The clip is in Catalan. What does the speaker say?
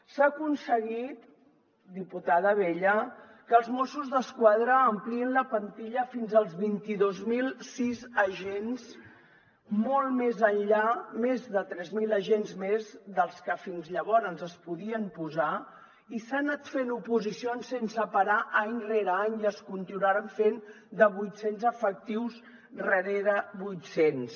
s’ha aconseguit diputada abella que els mossos d’esquadra ampliïn la plantilla fins als vint dos mil sis agents molt més enllà més de tres mil agents més dels que fins llavors s’hi podien posar i s’han anat fent oposicions sense parar any rere any i es continuaran fent de vuit cents efectius rere vuit cents